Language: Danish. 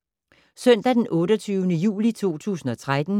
Søndag d. 28. juli 2013